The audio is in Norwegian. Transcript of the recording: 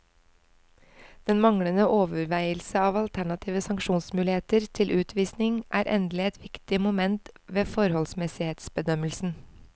Den manglende overveielse av alternative sanksjonsmuligheter til utvisning er endelig et viktig moment ved forholdsmessighetsbedømmelsen.